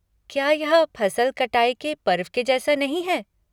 क्या यह फसल कटाई के पर्व के जैसा नहीं है?